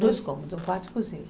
Dois cômodos, um quarto e cozinha.